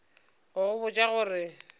go go botša go re